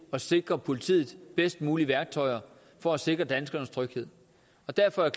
at sikre politiet de bedst mulige værktøjer for at sikre danskernes tryghed derfor er